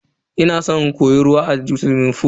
Ina san in koyi ruwa a suwimin fool.